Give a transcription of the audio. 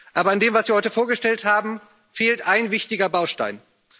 Aber in dem, was Sie heute vorgestellt haben, fehlt ein wichtiger Baustein.